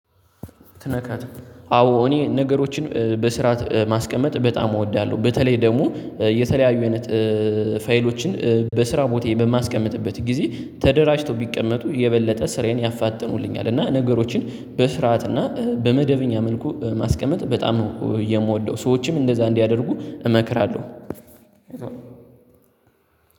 ትነካት አዎ እኔ ነገሮችን በስርዓት ማስቀመጥ በጣም እወዳለሁ። በተለይ ደግሞ የተለያዩ አይነት ፋይሎችን በስራ ቦታ በማስቀምጥበት ጊዜ ተደራጅቶ ቢቀመጡ የበለጠ ስራዬን ያፋጥኑልኛል። እና ነገሮችን በስርዓት እና በመደበኛ መልኩ ማስቀመጥ በጣም ነው የምወደው ሰዎችም እንደዛ እንዲያደርጉ እመክራለሁ።